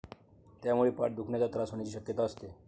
त्यामुळे पाठ दुखण्याचा त्रास होण्याची शक्यता असते.